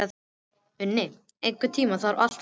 Uni, einhvern tímann þarf allt að taka enda.